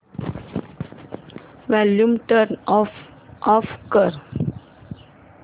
volume turn off कर